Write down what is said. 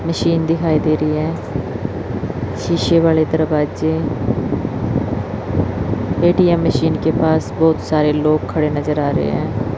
Machine दिखाई दे रही है शीशे वाले दरवाजे ए_टी_एम मशीन के पास बहुत सारे लोग खड़े नजर आ रहे हैं।